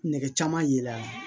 Nɛgɛ caman ye la